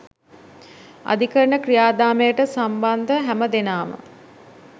අධිකරණ ක්‍රියාදාමයට සම්බන්ධ හැම දෙනාම